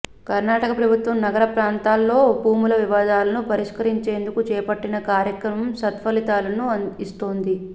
కర్నాటక ప్రభుత్వం నగర ప్రాంతాల్లో భూముల వివాదాలను పరిష్కరించేందుకు చేపట్టిన కార్యక్రమం సత్ఫలితాలను ఇస్తోంది